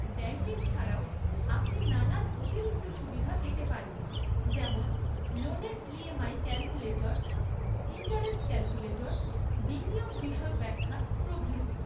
Banking ছাড়াও আপনি নানান অতিরিক্ত সুবিধা পেতে পারেন যেমন লোনের ইএমআই ক্যালকুলেটর, ইন্টারেস্ট ক্যালকুলেটর, বিনিয়োগ বিশদ ব্যাখ্যা, প্রভৃতি।